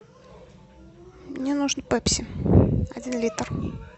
мне нужен пепси один литр